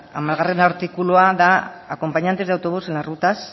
hamargarrena artikulua da acompañantes de autobús en las rutas